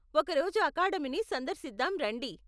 ఒక రోజు అకాడమిని సందర్శిదాం రండి!.